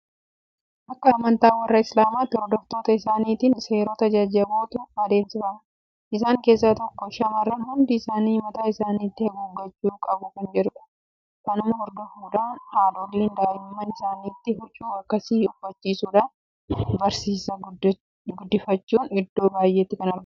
Akka amantaa warra Islaamaatti hordoftoota isaaniitiin seerota jajjabootu adeemsifama. Isaan keessaa tokko shaamarran hundi isaanii mataa isaaniitti haguuggachuu qabu kan jedhudha. Kanuma hordofuudhaan haadholiin daa'imman isaaniittis huccuu akkasii uffisuudhaan barsiisaa guddifachuun iddoo baay'eetti kan baramedha.